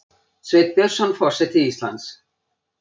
Sveinn Björnsson forseti Íslands